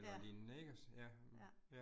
Ja. Ja